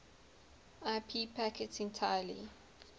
ip packets entirely